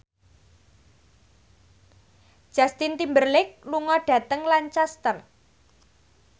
Justin Timberlake lunga dhateng Lancaster